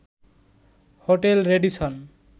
hotel Radisson